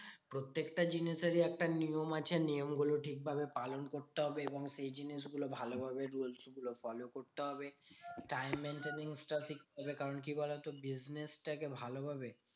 প্রত্যেকটা জিনিসেরই একটা নিয়ম আছে নিয়মগুলো ঠিকভাবে পালন করতে হবে। এবং সেই জিনিসগুলো ভালোভাবে rules গুলো follow করতে হবে। time maintenance টাও শিখতে হবে। কারণ কি বলতো? business টাকে ভালোভাবে